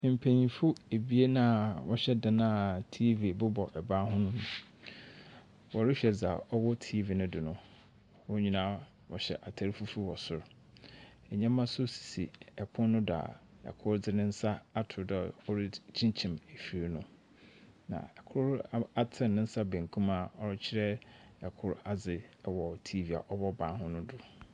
Mpanyimfo ebien a wɔhyɛ dan a TV bobɔ ban ho mu. Wɔrohwɛ dza ɔwɔ TV no do no. Hɔn nyina wɔhyɛ atar fufuw wɔ sor. Ndzɛmba so sisi pon do a kor dze ne nsa ato do orikyinkyim efir no, na kor atsen ne nsa bankum a ɔrekyerɛ kor adze wɔ TV ɔbɔ ban ho no do.